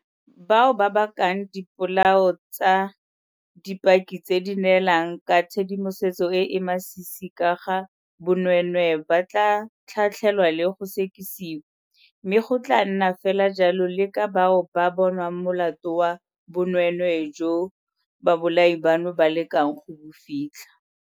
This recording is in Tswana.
Bao ba bakang dipolao tsa dipaki tse di neelang ka tshedimosetso e e masisi ka ga bonweenwee ba tla tlhatlhelwa le go sekisiwa, mme go tla nna fela jalo le ka bao ba bonwang molato wa bonweenwee joo babolai bano ba lekang go bo fitlha.